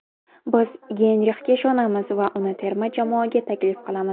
Biz Geynrixga ishonamiz va uni terma jamoaga taklif qilamiz.